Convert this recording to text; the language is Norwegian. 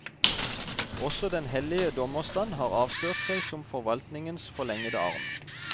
Også den hellige dommerstand har avslørt seg som forvaltningens forlengede arm.